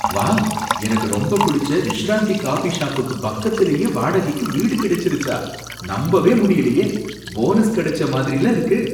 Wow! எனக்கு ரொம்ப பிடிச்ச விஷ்ராந்தி காபி ஷாப்புக்கு பக்கத்துலயே வாடகைக்கு வீடு கிடைச்சிருச்சா! நம்பவே முடியலையே! போனஸ் கிடைச்ச மாதிரில்ல இருக்கு.